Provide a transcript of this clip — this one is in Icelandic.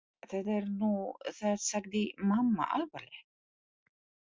Það er nú það sagði mamma alvarleg.